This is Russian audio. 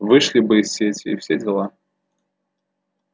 вышли бы из сети и все дела